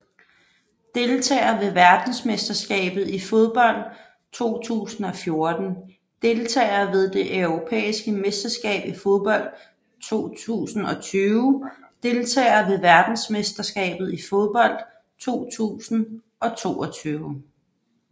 Deltagere ved verdensmesterskabet i fodbold 2014 Deltagere ved det europæiske mesterskab i fodbold 2020 Deltagere ved verdensmesterskabet i fodbold 2022